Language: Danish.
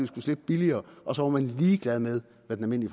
skulle slippe billigere og så var man ligeglad med hvad den